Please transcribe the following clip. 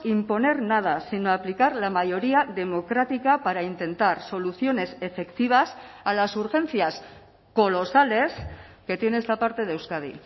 imponer nada sino aplicar la mayoría democrática para intentar soluciones efectivas a las urgencias colosales que tiene esta parte de euskadi